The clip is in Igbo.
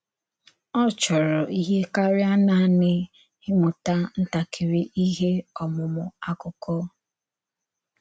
Ọ chòrọ̀ íhè káríà nanị ìmụ̀tà ntàkìrì íhè ọmụ̀mụ̀ àkụ́kọ̀.